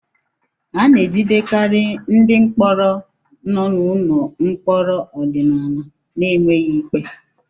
A na-ejidekarị ndị mkpọrọ nọ n'ụlọ mkpọrọ ọdịnala n'enweghị ikpe